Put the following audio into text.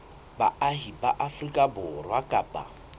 baahi ba afrika borwa kapa